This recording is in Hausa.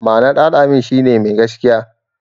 Ma'anar "Al-amin" shi ne "Mai gaskiya".